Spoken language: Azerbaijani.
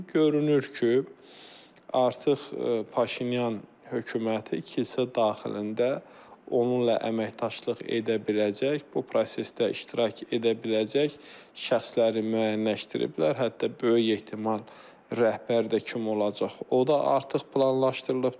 Görünür ki, artıq Paşinyan hökuməti kilsə daxilində onunla əməkdaşlıq edə biləcək, bu prosesdə iştirak edə biləcək şəxsləri müəyyənləşdiriblər, hətta böyük ehtimal rəhbər də kim olacaq, o da artıq planlaşdırılıbdır.